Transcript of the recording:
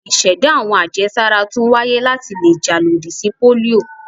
Ìṣẹ̀dá àwọn àjẹsára tún wáyé láti le jà lòdì sí pólíò.